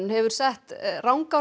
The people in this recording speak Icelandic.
hefur sett